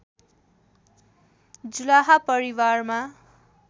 जुलाहा परिवारमा